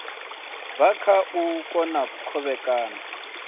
bva kha u kona kovhekana